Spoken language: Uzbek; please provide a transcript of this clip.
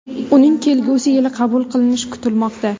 Uning kelgusi yili qabul qilinishi kutilmoqda.